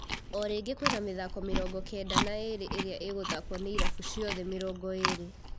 O rĩngĩ kwĩna mĩthako mĩrongo-kenda na ĩrĩ ĩria ĩgũthakwo nĩ irabu ciothe mĩrongo ĩrĩ.